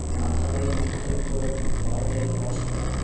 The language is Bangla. নাধাবের মন্তব্য ভারতের অসমান